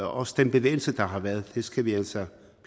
også den bevægelse der har været det skal vi altså